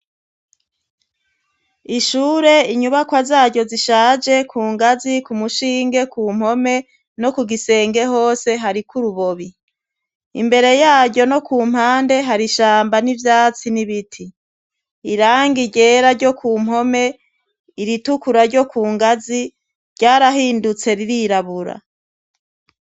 Ishure, inyubakwa zaryo zishaje ku ngazi ku mushinge ku mpome no ku gisenge hose hariko urubobi. Imbere yaryo no ku mpande hari ishamba n'ivyatsi n'ibiti, irangi ryera ryo ku mpome, iritukura ryo ku ngazi ryarahindutse ririrabura.